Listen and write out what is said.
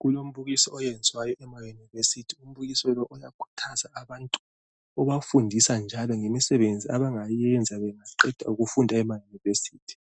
Kulombukiso oyenziwayo emayunivesithi . Umbukiso lo uyakhuthaza abantu ubafundisa njalo ngemisebenzi abangayenza bengaqeda ukufunda emayunivesithi.